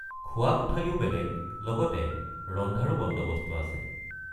খোৱা কোঠালিও বেলেগ লগতে ৰন্ধাৰো বন্দৱস্ত আছে।